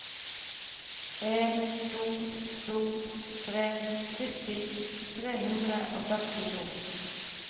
en to to tre sytti tre hundre og førtito